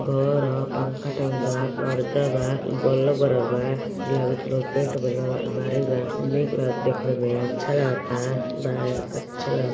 घर है पंखाटाँगल बा पेंट बा पर्दा बा। बल्ब बरलबा अलमारी बा देख ले मैं अच्छा लगता अच्छा लगता --